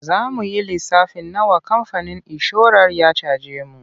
Za mu yi lissafin nawa kamfanin inshorar ya caje mu.